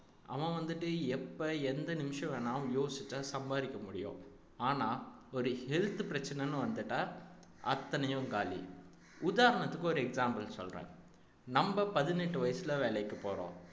அவன் வந்துட்டு எப்ப எந்த நிமிஷம் வேணாலும் யோசிச்சா சம்பாரிக்க முடியும் ஆனா ஒரு health பிரச்சனன்னு வந்துட்டா அத்தனையும் காலி உதாரணத்துக்கு ஒரு example சொல்றேன் நம்ப பதினெட்டு வயசுல வேலைக்கு போறோம்